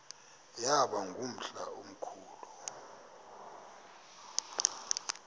yaba ngumhla omkhulu